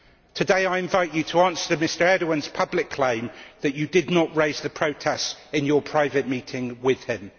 Today I invite you to answer Mr Erdoğan's public claim that you did not raise the protests in your private meeting with him.